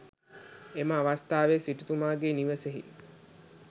එම අවස්ථාවෙහි සිටුතුමාගේ නිවසෙහි